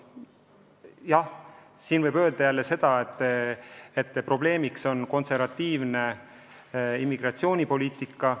Teisest küljest võib öelda jälle seda, et probleemiks on ka konservatiivne immigratsioonipoliitika.